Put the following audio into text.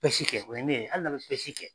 Pɛsi kɛ wɛni de ali n'a be pɛsi kɛ